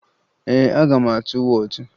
Ee, aga m atụ wọọtụ